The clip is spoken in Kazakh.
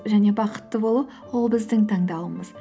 және бақытты болу ол біздің таңдауымыз